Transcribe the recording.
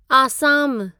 आसामु